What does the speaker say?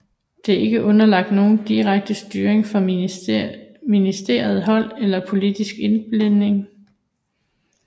Det er ikke underlagt nogen direkte styring fra ministerielt hold eller politsk indblanding